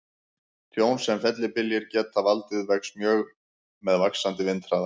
Tjón sem fellibyljir geta valdið vex mjög með vaxandi vindhraða.